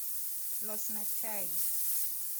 losna chai